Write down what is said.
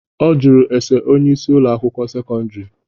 Ọ jụrụ ese onyeisi Ụlọ akwụkwọ sekọndrị.